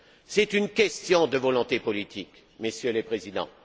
C'est une question de volonté politique, Messieurs les Présidents.